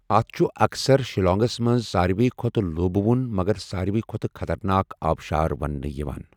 اتھ چھُ اَکثَر شیلانگَس منٛز 'ساروِی کھوتہٕ لوٗبٕوُن' مگر 'ساروِی کھوتہٕ خَطَرناک' آبشار وننہِ یِوان۔